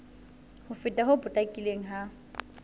ho fela ho potlakileng ha